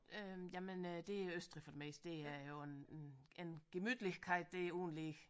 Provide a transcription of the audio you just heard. Øh jamen øh det er Østrig for det meste der er jo en en gemütlichkeit der uden lige